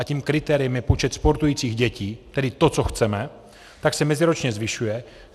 A tím kritériem je počet sportujících dětí, tedy to, co chceme, tak se meziročně zvyšuje.